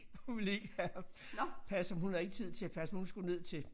Hun ville ikke have ham passe ham hun havde ikke tid til at passe ham hun skulle ned til